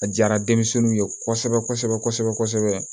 A diyara denmisɛnninw ye kosɛbɛ kosɛbɛ kosɛbɛ